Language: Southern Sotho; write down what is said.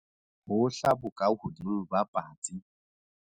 Hohla bokahodimo ba patsi.